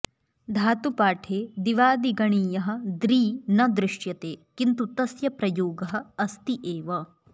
धातुपाठे दिवादिगणीयः दॄ न दृश्यते किन्तु तस्य प्रयोगः अस्ति एव